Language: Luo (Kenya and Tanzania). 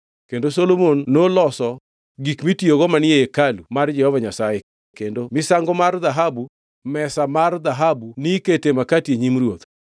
Kendo Solomon noloso gik mitiyogo manie ei hekalu mar Jehova Nyasaye: Kendo mar misango mar dhahabu; mesa mar dhahabu nikete makati e nyim Ruoth;